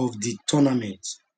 of di tournament